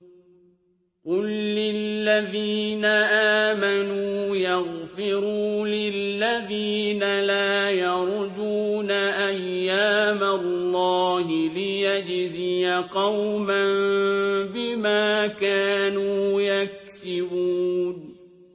قُل لِّلَّذِينَ آمَنُوا يَغْفِرُوا لِلَّذِينَ لَا يَرْجُونَ أَيَّامَ اللَّهِ لِيَجْزِيَ قَوْمًا بِمَا كَانُوا يَكْسِبُونَ